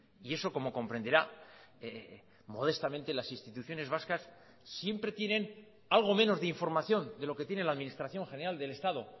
y eso como comprenderá modestamente las instituciones vascas siempre tienen algo menos de información de lo que tiene la administración general del estado